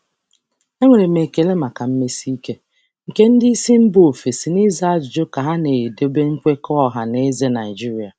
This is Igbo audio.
Ana m ekele nkwusi ike ndị oga si mba ọzọ na ịza ajụjụ ka m na-anọgide na nkwekọ mmekọrịta Naịjirịa.